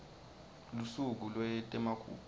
lusuku lwetemagugu